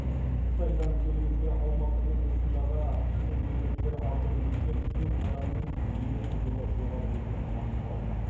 қытайдан елімізге алматы облысындағы кеден бекеттер арқылы өткен төрт адамның дене қызуы жоғары екені анықталды